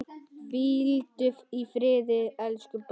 Hvíldu í friði, elsku bróðir.